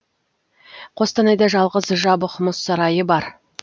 қостанайда жалғыз жабық мұз сарайы бар